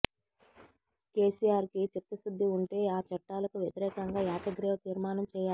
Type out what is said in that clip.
కేసీఆర్ కి చిత్తశుద్ది ఉంటే ఆ చట్టాలకు వ్యతిరేకంగా ఏకగ్రీవ తీర్మానం చేయాలి